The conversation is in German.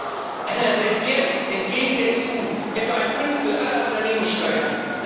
EUR jährlich entgehen der EU, etwa ein Fünftel aller Unternehmenssteuern.